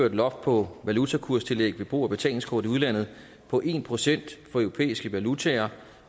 et loft på valutakurstillæg ved brug af betalingskort i udlandet på en procent for europæiske valutaer